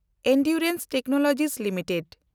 Endurance technology limited